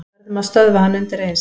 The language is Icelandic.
Verðum að stöðva hann undireins.